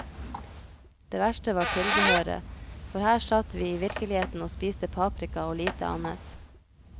Det verste var tilbehøret, for her satt vi i virkeligheten og spiste paprika og lite annet.